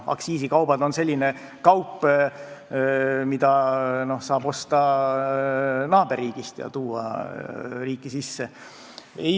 Aktsiisikaubad on sellised kaubad, mida saab osta naaberriigist ja tuua riiki sisse.